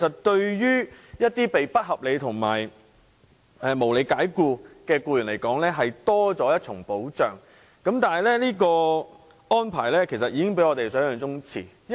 對一些被不合理及不合法解僱的僱員而言，這是多了一重保障，但這安排比我們想象中遲落實。